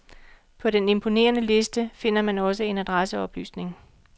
På den imponerende liste finder man også en adresseoplysning.